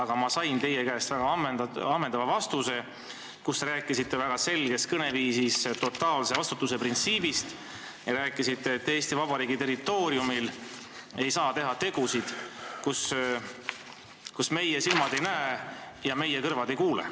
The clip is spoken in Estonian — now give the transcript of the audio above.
Aga ma sain teie käest juba ammendava vastuse: te rääkisite väga selges kõneviisis totaalse vastutuse printsiibist, öeldes, et Eesti Vabariigi territooriumil ei saa teha tegusid, mida meie silmad ei näe ja meie kõrvad ei kuule.